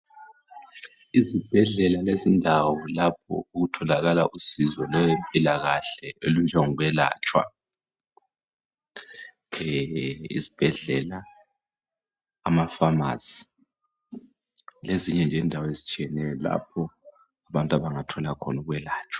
Izibhedlela lezindawo lapho okutholakala usizo lwempilakahle olunjengokwelatshwa. Izibhedlela amafamisi lezinye nje indawo ezitshiyeneyo lapha abantu abangathola khona ukwelatshwa.